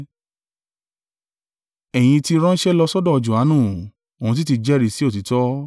“Ẹ̀yin ti ránṣẹ́ lọ sọ́dọ̀ Johanu, òun sì ti jẹ́rìí sí òtítọ́.